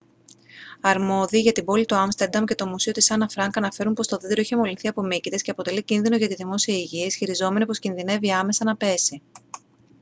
αρμόδιοι για την πόλη του άμστερνταμ και το μουσείο της άννα φρανκ αναφέρουν πως το δέντρο έχει μολυνθεί από μύκητες και αποτελεί κίνδυνο για τη δημόσια υγεία ισχυριζόμενοι πως κινδυνεύει άμεσα να πέσει